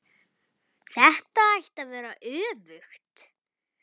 Þetta ætti að vera öfugt.